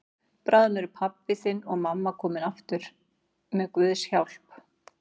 Bráðum eru pabbi þinn og mamma komin heim aftur með Guðs hjálp.